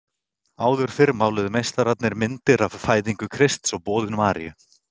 Áður fyrr máluðu meistararnir myndir af Fæðingu Krists og Boðun Maríu